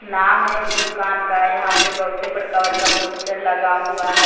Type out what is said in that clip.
नाम है इस दुकान का यहां पे बहुते बड़का बड़का पोस्टर लगा हुआ है।